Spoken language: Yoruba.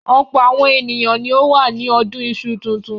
Ọ̀pọ̀ àwọn ènìyàn ni ó wà ní ọdún iṣu tuntun.